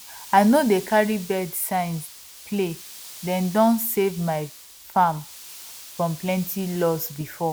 i no dey carry birds signs playdem don save my fram from plenty lose before